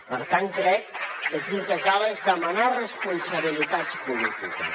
per tant crec que aquí el que cal és demanar responsabilitats polítiques